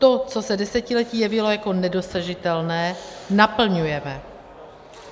To, co se desetiletí jevilo jako nedosažitelné, naplňujeme.